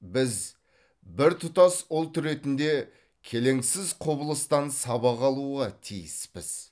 біз біртұтас ұлт ретінде келеңсіз құбылыстан сабақ алуға тиіспіз